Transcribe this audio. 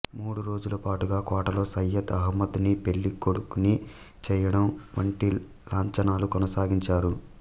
మూడురోజుల పాటుగా కోటలో సయ్యద్ అహమ్మద్ ని పెళ్ళికొడుకుని చేయడం వంటి లాంఛనాలు కొనసాగించారు